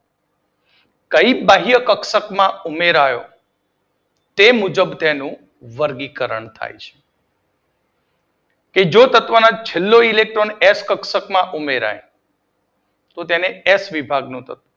કઈ બાહ્ય કક્ષક માં ઉમેરાયો તે મુજબ તેનું વર્ગીકરણ થાય છે બીજો એક્સ ઇલેક્ટ્રોન છેલ્લા